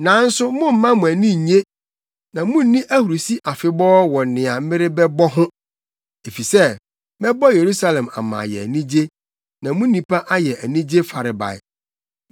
Nanso momma mo ani nnye na munni ahurusi afebɔɔ wɔ nea merebɛbɔ ho, efisɛ mɛbɔ Yerusalem ama ayɛ anigye, na mu nnipa ayɛ anigye farebae.